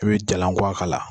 E be jalankuwa k'a la